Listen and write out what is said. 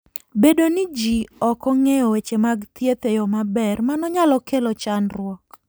Bedo ni ji ok ong'eyo weche mag thieth e yo maber, mano nyalo kelo chandruok.